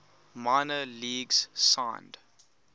minor leagues signed